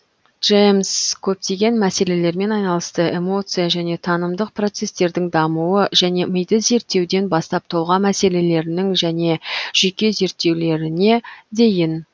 джемс көптеген мәселелермен айналысты эмоция және танымдық процестердің дамуы және миды зерттеуден бастап тұлға мәселелерінің және жүйке зерттеулеріне дейін